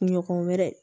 Kunɲɔgɔn wɛrɛ